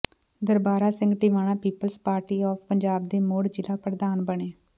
Darbara Singh Tiwana people's party of Punjab ਦੇ ਮੁੜ ਜ਼ਿਲ੍ਹਾ ਪ੍ਰਧਾਨ ਬਣੇ